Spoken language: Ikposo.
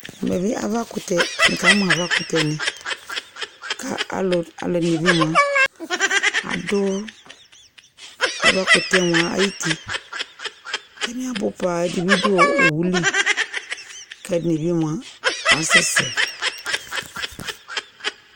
Uvɛ bi avakʋtɛ, n'ikamʋ avakʋtɛ ni Kʋ alʋ, alʋ ɛdini bi moa adʋ avakʋtɛ moa ayʋti Atani abʋ paa, ɛdi bi dʋ owʋ li kʋ ɛdi bi moa asɛsɛ